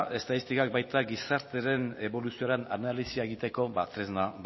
estatistikak baita gizartearen eboluzioren analisia egiteko tresna